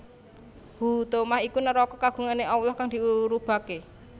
Huthomah iku neraka kagungane Allah kang diurubake